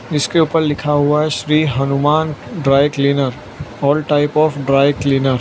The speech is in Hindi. इसके ऊपर लिखा हुआ है Shri Hanuman dry cleaner all type of dry cleaner.